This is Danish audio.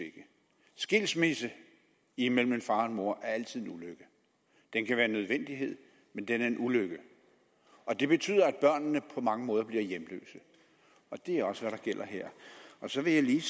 skilsmisse imellem en far og mor er altid en ulykke den kan være en nødvendighed men den er en ulykke og den betyder at børnene på mange måder bliver hjemløse det er også det der gælder her så vil jeg lige